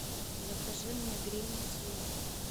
закажи мне грин ти